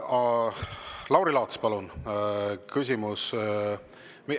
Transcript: Lauri Laats, palun küsimus …